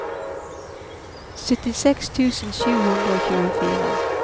syttiseks tusen sju hundre og tjuefire